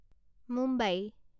Mumbai